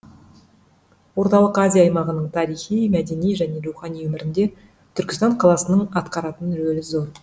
орталық азия аймағының тарихи мәдени және рухани өмірінде түркістан қаласының атқаратын рөлі зор